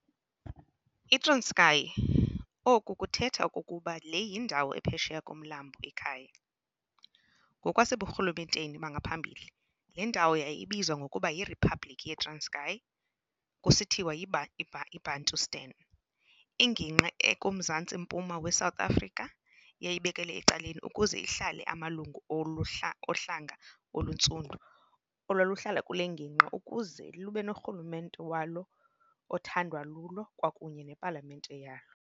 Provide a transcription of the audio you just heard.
I-Transkei oku kuthetha okokuba le yindawo ephesheya komlambo i-Kei, ngokwaseburhulumenteni bangaphambili le ndawo yayibizwa ngokuba yi-Riphabliki yeTranskei, kusithiwa yi-Bantustan, ingingqi ekuMzantsiMmpuma weSouth Afrika eyayibekelwe ecaleni ukuze ihlale amalungu ohlanga, oluntsundu, olwaluhlala kule ngingqi ukuze lube norhulumente walo othandwa lulo kwakunye nepalamente yalo.